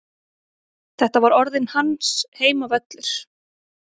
Þetta var orðinn hans heimavöllur.